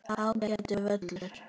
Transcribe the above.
Ágætur völlur.